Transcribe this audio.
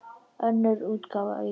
Önnur útgáfa aukin.